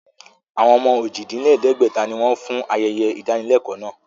Àwọn ọmọ ojì-dín-lẹ̀ẹ́dẹ́gbẹ̀ta ni wọn fún ayẹyẹ ìdánilẹ́kọ̀ọ́ náà